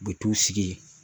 U bɛ t'u sigi